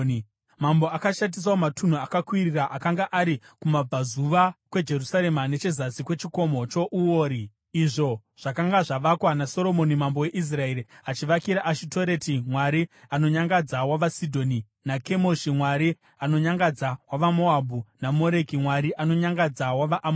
Mambo akashatisawo matunhu akakwirira akanga ari kumabvazuva kweJerusarema nechezasi kweChikomo choUori, izvo zvakanga zvavakwa naSoromoni mambo weIsraeri achivakira Ashitoreti mwari anonyangadza wavaSidhoni naKemoshi mwari anonyangadza wavaMoabhu, naMoreki mwari anonyangadza wavaAmoni.